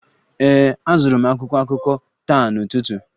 Ee, azụrụ m akwụkwọ akụkọ taa n'ụtụtụ